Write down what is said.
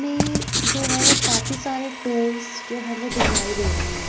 इसमें जो है वो काफी सारे टूल्स जो हैं वो दिखाई दे रहे हैं।